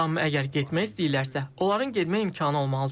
Amma əgər getmək istəyirlərsə, onların getmək imkanı olmalıdır.